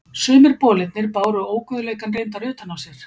Sumir bolirnir báru óguðleikann reyndar utan á sér.